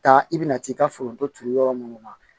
Taa i bɛna t'i ka foronto turu yɔrɔ minnu na